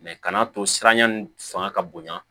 kan'a to siranya nin fanga ka bonya